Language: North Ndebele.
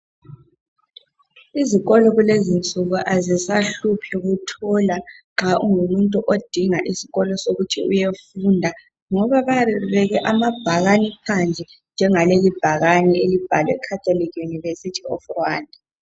Izikolo kulezinsuku azisahluphi nxa ungumuntu odinga isikolo sokuthi uyefunda ngoba bayabe bebeke amabhakane phandle njengaleli ibhakane elibhalwe Catholic University of Rwanda.